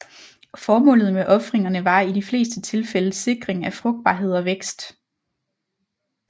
Formålet med ofringerne var i de fleste tilfælde sikring af frugtbarhed og vækst